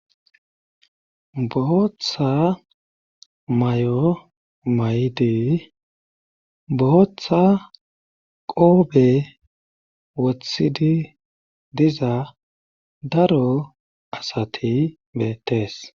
bootha mayo mayidi botha qoobe wooththidi diza daro asati betees